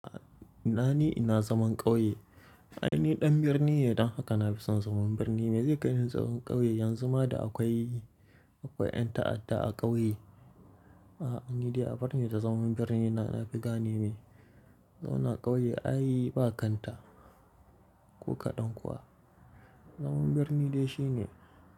Ina ni ina zaman ƙauye. Ai ni ɗan birni ne don haka na fi son zaman birni. Me zai kai ni zaman ƙauye yanzu ma da akwai, akwai ƴan ta'adda a ƙauye? A'a, ni dai abar ni da zaman birni na, na fi gane ne. Zauna ƙauye ai ba kanta ko kaɗan kuwa. Zaman birni dai shi ne.